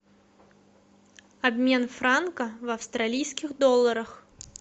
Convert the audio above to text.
обмен франка в австралийских долларах